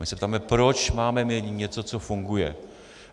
My se ptáme, proč máme měnit něco, co funguje.